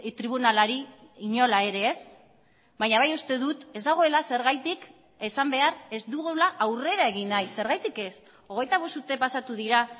tribunalari inola ere ez baina bai uste dut ez dagoela zergatik esan behar ez dugula aurrera egin nahi zergatik ez hogeita bost urte pasatu dira